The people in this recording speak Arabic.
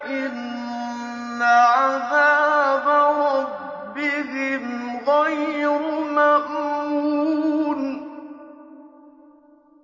إِنَّ عَذَابَ رَبِّهِمْ غَيْرُ مَأْمُونٍ